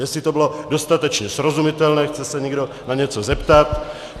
Jestli to bylo dostatečně srozumitelné, chce se někdo na něco zeptat?